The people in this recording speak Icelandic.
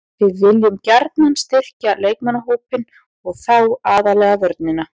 Við viljum gjarnan styrkja leikmannahópinn og þá aðallega vörnina.